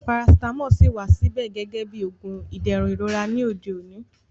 Parasitamọ ṣíì wà síbẹ̀ gẹ́gẹ́ bí oògùn fún ìdẹ̀rùn ìrora ní òde òní